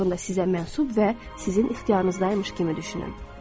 Onlar haqqında sizə mənsuf və sizin ixtiyarınızdaymış kimi düşünün.